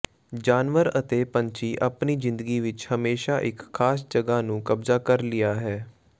ਜਾਨਵਰ ਅਤੇ ਪੰਛੀ ਆਪਣੀ ਜ਼ਿੰਦਗੀ ਵਿਚ ਹਮੇਸ਼ਾ ਇੱਕ ਖਾਸ ਜਗ੍ਹਾ ਨੂੰ ਕਬਜ਼ਾ ਕਰ ਲਿਆ ਹੈ